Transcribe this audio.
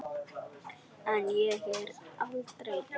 En ég er aldrei ein.